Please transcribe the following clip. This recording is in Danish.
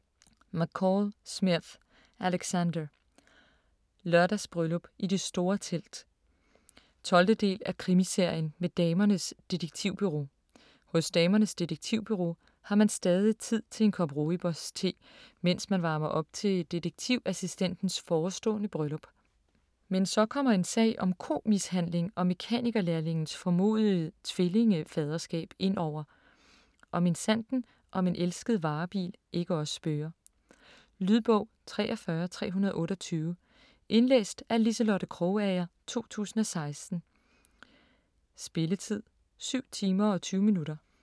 McCall Smith, Alexander: Lørdagsbryllup i det store telt 12. del af Krimiserien med Damernes Detektivbureau. Hos Damernes Detektivbureau har man stadig tid til en kop Roiboos-te, mens man varmer op til detektivassistentens forestående bryllup. Men så kommer en sag om komishandling og mekanikerlærlingens formodede tvillingefaderskab indover, og minsandten om en elsket varebil ikke også spøger. Lydbog 43328 Indlæst af Liselotte Krogager, 2016. Spilletid: 7 timer, 20 minutter.